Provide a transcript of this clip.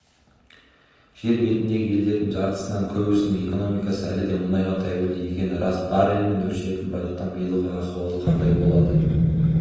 жер бетіндегі елдердің жартысынан көбісінің экономикасы әлі де мұнайға тәуелді екені рас баррельмен өлшенетін байлықтың биылғы ахуалы қандай болады